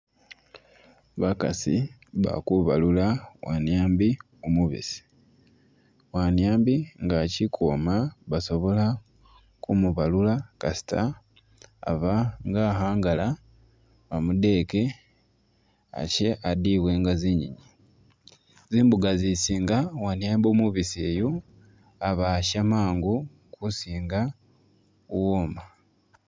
Bakaasi bali kubalula wanyiambi umubiisi, waniambi nga achili ukwoma basobola kumubalula kasita aba nga akhangala bamudeke ashe adiibwe nga zinyenyi, zimbuka zisinga waniambi umubisi uyu aba asha mangu kusinga uwoma.